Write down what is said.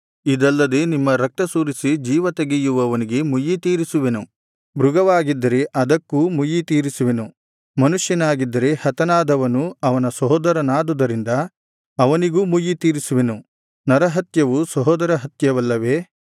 ಇದಲ್ಲದೆ ನಿಮ್ಮ ರಕ್ತ ಸುರಿಸಿ ಜೀವ ತೆಗೆಯುವವನಿಗೆ ಮುಯ್ಯಿತೀರಿಸುವೆನು ಮೃಗವಾಗಿದ್ದರೆ ಅದಕ್ಕೂ ಮುಯ್ಯಿತೀರಿಸುವೆನು ಮನುಷ್ಯನಾಗಿದ್ದರೆ ಹತನಾದವನು ಅವನ ಸಹೋದರನಾದುದರಿಂದ ಅವನಿಗೂ ಮುಯ್ಯಿ ತೀರಿಸುವೆನು ನರಹತ್ಯವು ಸಹೋದರ ಹತ್ಯವಲ್ಲವೇ